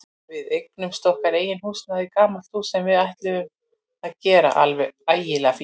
Við eignuðumst okkar eigið húsnæði, gamalt hús sem við ætluðum að gera alveg ægilega fínt.